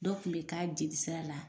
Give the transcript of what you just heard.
Dɔ kun bɛ k'a jelisira la.